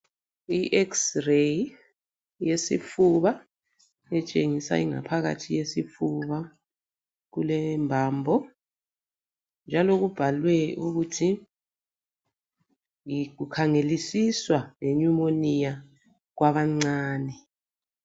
I xreyi yesifuba etshengisa ingaphakathi yesifuba kulembambo, njalo kubhalwe ukuthi kukhangelisiswa lenyumoniya kwabancane.